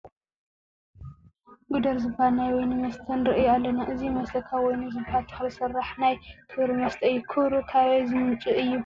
ጉደር ዝበሃል ናይ ወይኒ መስተ ንርኢ ኣለና፡፡ እዚ መስተ ካብ ወይኒ ዝበሃል ተኽሊ ዝስራሕ ናይ ክብሪ መስተ እዩ፡፡ ክብሩ ካበይ ዝምንጩ እዩ?